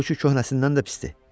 Bu kü köhnəsindən də pisdir.